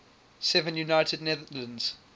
seven united netherlands